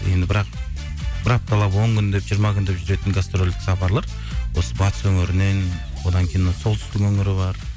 енді бірақ бір апталап он күндеп жиырма күндеп жүретін гастрольдік сапарлар осы батыс өңірінен одан кейін мына солтүстік өңірі бар